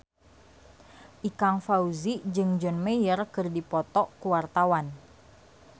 Ikang Fawzi jeung John Mayer keur dipoto ku wartawan